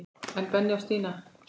En Benni og Stína?